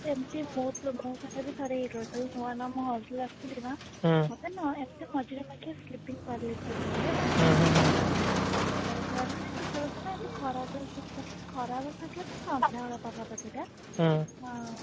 ସେମିତି ମୋ ସହିତ ବି ସେମିତି ହେଇଥିଲା ଯେତେବେଳେ ନୂଆ ନୂଆ ମୁଁ hostel ଆସିଥିଲି ନା ମତେ ନା ମଝିରେ ମଝିରେ ହୁଏ ହେଲା ତ ମୁଁ ଯେତେବେଳେ ଆସିଲି ସେତେବେଳେ କଣ ନା ଖରା ଦିନ ଖରାଦିନ କଣ ନା ଏମିତି ସନ୍ଧ୍ଯା ବେଳ ପାଗ କରିଥିଲା ଆଁ